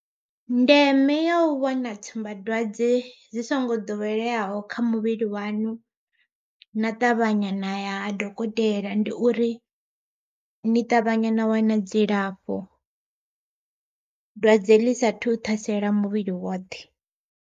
Ndeme ya u vhona tsumbadwadze dzi songo ḓoweleyaho kha muvhili waṋu, na ṱavhanya na ya ha dokotela ndi uri ni ṱavhanya na wana dzilafho. Dwadze ḽi sathu thasela muvhili woṱhe.